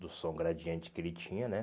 Do som gradiente que ele tinha, né?